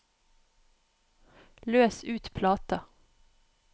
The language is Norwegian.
løs ut plata